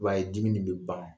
I b'a ye dimi nin be ban.